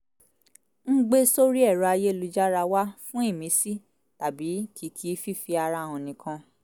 ń gbé sórì ẹ̀rọ ayélujára wà fún ìmísí tàbí kìkì fífi ara hàn nìkan